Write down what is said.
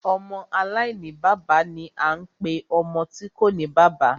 Ọmọ aláìní bàbá ni a ń pe ọmọ tí kòní bàbá.